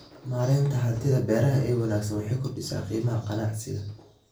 Maareynta hantida beeraha ee wanaagsan waxay kordhisaa qiimaha ganacsiga.